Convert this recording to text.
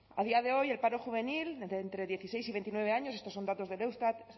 a día de hoy el paro juvenil de entre dieciséis y veintinueve años estos son datos del eustat